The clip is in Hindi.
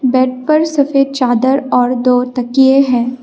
बेड पर सफेद चादर और दो तकिए हैं।